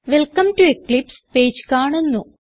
welcome to eclipse page കാണുന്നു